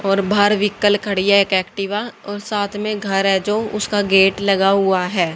और बाहर वीइकल खड़ी है एक एक्टिवा और साथ में घर है जो उसका गेट लगा हुआ हैं।